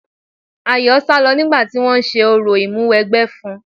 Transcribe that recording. Ayọ̀ sálọ nígbà tí wọ́n ń ṣe orò Ìmúwẹgbẹ́ fún un.